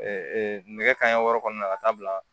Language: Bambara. nɛgɛ kanɲɛ wɔɔrɔ kɔnɔna na ka taa bila